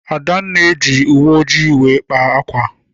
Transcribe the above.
Adanna ji owu ojii wee kpaa ákwà.